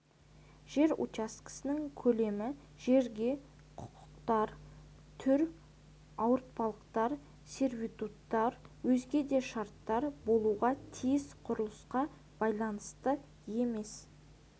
жер учаскесінің көлемі жерге құқықтар түр ауыртпалықтар сервитуттар өзге де шарттар болуға тиіс құрылысқа байланысты емес